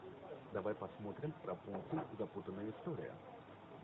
давай посмотрим рапунцель запутанная история